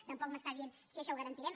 tampoc m’està dient si això ho garantirem